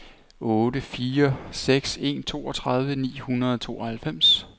otte fire seks en toogtredive ni hundrede og tooghalvfems